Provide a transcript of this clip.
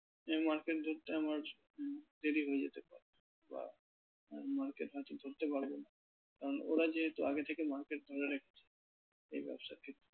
যে ধরতে আমার দেরি হয়ে যেতে পারে বা market হয়তো ধরতে পারবো না কারণ ওরা যেহেতু আগে থেকে market ধরে রেখেছে এই ব্যবসা ক্ষেত্রে ।